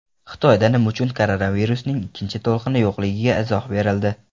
Xitoyda nima uchun koronavirusning ikkinchi to‘lqini yo‘qligiga izoh berildi.